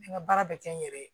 N ka baara bɛ kɛ n yɛrɛ ye